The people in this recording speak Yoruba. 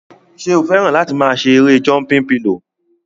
Ṣé o fẹ́ràn láti máa ṣe erée jọmpin pilò?